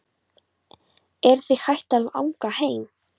Er þig hætt að langa heim?